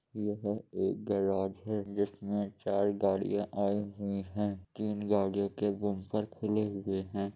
यहाँ एक गैरेज है | यहाँ चार गाड़िया आई हुई हैं तीन गाड़ियो के बम्पर खुले हुआ हैं ।